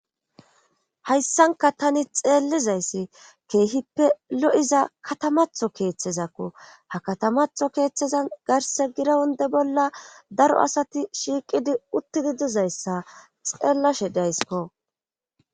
Hayssanka tani xeellizayssi keehippe lo,iza katamatho keeththezakku ha katamatho keeththezan garse girawunde bolla daro asati shiiqidi uttidi dizayssa xeellashe daysikko.